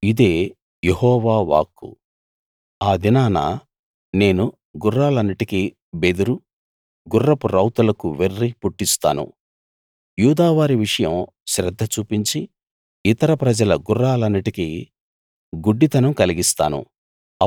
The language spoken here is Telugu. ఇదే యెహోవా వాక్కు ఆ దినాన నేను గుర్రాలన్నిటికీ బెదురు గుర్రపు రౌతులకు వెర్రి పుట్టిస్తాను యూదావారి విషయం శ్రద్ధ చూపించి ఇతర ప్రజల గుర్రాలన్నిటికీ గుడ్డితనం కలిగిస్తాను